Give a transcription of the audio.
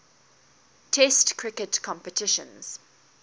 test cricket competitions